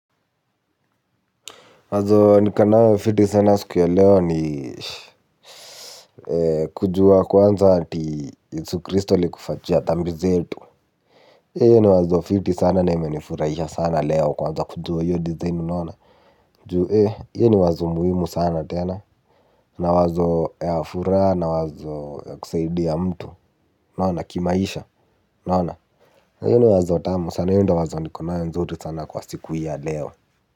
Wazo niko nayo fiti sana siku ya leo ni kujua kwanza ati yesu kristo allikufa juu ya dhambi zetu. Ee hio ni wazo fiti sana na imenifurahisha sana leo kuanza kujua hiyo design unaona. Juu eh hio ni wazo muhimu sana tena. Na wazo ya furaha na wazo ya kusaidia mtu unaona kimaisha unaona. Na hiyo ni wazo tamu sana hio ndo wazo niko nayo nzuri sana kwa siku hii ya leo.